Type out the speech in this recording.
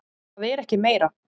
Það er ekki meira.